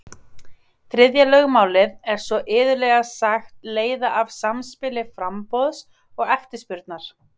Þriðja lögmálið er svo iðulega sagt leiða af samspili framboðs og eftirspurnar.